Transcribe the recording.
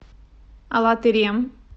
алатырем